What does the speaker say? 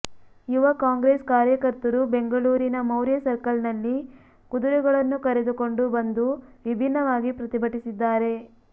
ಯುವ ಕಾಂಗ್ರೆಸ್ ಕಾರ್ಯಕರ್ತರು ಬೆಂಗಳೂರಿನ ಮೌರ್ಯ ಸರ್ಕಲ್ ನಲ್ಲಿ ಕುದುರೆಗಳನ್ನು ಕರೆದುಕೊಂಡು ಬಂದು ವಿಭಿನ್ನವಾಗಿ ಪ್ರತಿಭಟಿಸಿದ್ದಾರೆ